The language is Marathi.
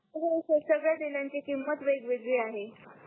तस नाही सर संगड्या तेलांची किमत वेगवेगळी आहे